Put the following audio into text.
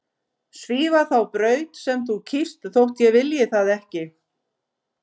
Svífa þá braut sem þú kýst þótt ég vilji það ekki.